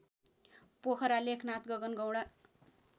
Pokhara Lekhnath Gagangaunda